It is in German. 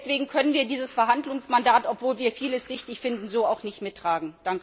Deswegen können wir dieses Verhandlungsmandat, obwohl wir vieles richtig finden, so auch nicht mittragen.